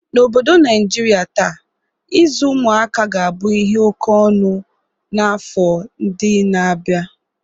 N'obodo Niajria taa, ịzụ ụmụaka ga-abụ ihe oke ọnụ n'afọ ndị na-abia..